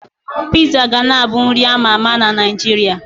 Piizaa ga na abụ nri a ma ama na Naịjirịa.